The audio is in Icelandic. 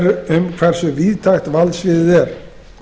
er um hversu víðtækt valdsviðið er